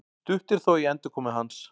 Stutt er þó í endurkomu hans